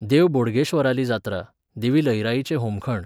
देव बोडगेश्वराली जात्रा, देवी लईराईचें होमखण